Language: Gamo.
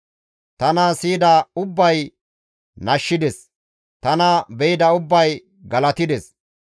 Tana siyida ubbay nashshides; tana be7ida ubbay galatides.